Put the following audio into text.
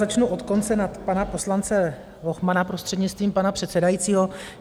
Začnu od konce na pana poslance Lochmana, prostřednictvím pana předsedajícího.